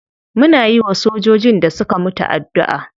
Muna yiwa sojojin da suka mutu addu'a.